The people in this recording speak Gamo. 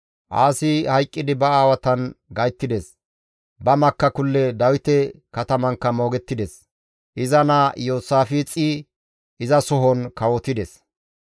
Aasi hayqqidi ba aawatan gayttides; ba makakulle Dawite katamankka moogettides. Iza naa Iyoosaafixey izasohon kawotides.